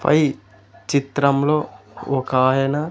పై చిత్రంలో ఒకాయన.